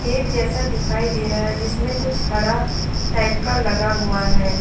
खेत जैसा दिखाई दे रहा है जिसमे कुछ हरा टाइप का लगा हुआ हैं।